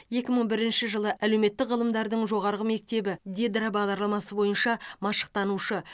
екі мың бірінші жылы әлеуметтік ғылымдардың жоғарғы мектебі дидро бағдарламасы бойынша машықтанушы